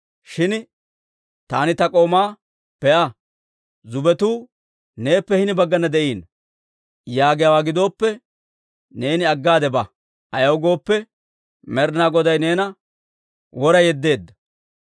Shin taani ta k'oomaa, ‹Be'a; zubbetuu neeppe hini baggana de'iino› yaagiyaawaa gidooppe, neeni aggade ba; ayaw gooppe, Med'inaa Goday neena wora yeddeedda.